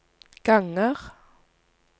ganger